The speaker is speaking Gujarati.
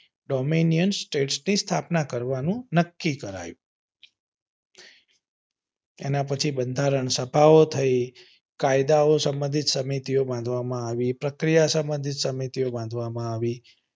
domenian state ની સ્થાપના કરવાનું નક્કી કરાયું એના પછી બંધારણ સભાઓ થઇ કાયદાઓ સંબંધિત સમિતિ ઓ કરવામાં આવી પ્રક્રિયા સંબંધિત સમિતિઓ બાંધવામાં આવી.